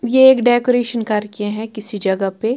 ये एक डेकोरेशन करके हैं किसी जगह पे--